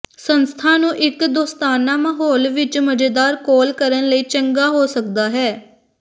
ਸੰਸਥਾ ਨੂੰ ਇੱਕ ਦੋਸਤਾਨਾ ਮਾਹੌਲ ਵਿਚ ਮਜ਼ੇਦਾਰ ਕੋਲ ਕਰਨ ਲਈ ਚੰਗਾ ਹੋ ਸਕਦਾ ਹੈ